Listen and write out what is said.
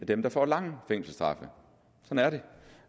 dem der får lange fængselsstraffe sådan er det